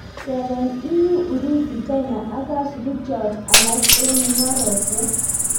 Tepee EU, Urusi ,china ak kasupiik chook alaak eng mungarosiek